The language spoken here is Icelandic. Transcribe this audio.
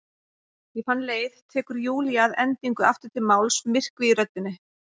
Ég fann leið, tekur Júlía að endingu aftur til máls, myrkvi í röddinni.